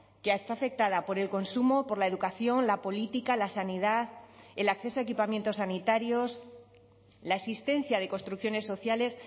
que está afectada por el consumo por la educación la política la sanidad el acceso a equipamientos sanitarios la existencia de construcciones sociales